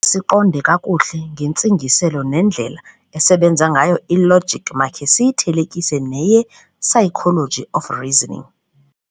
Ukuze siqonde kakuhle ngentsingiselo nendlela esebenza ngayo i-logic, makhe siyithelekise "neye-psychology of reasoning".